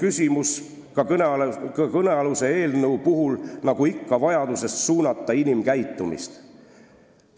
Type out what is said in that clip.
Tegelikult on ju ka kõnealuse eelnõu puhul, nagu ikka, küsimus vajaduses suunata inimkäitumist.